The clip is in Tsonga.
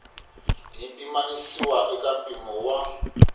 yi pimanisiwa eka mimpimo wa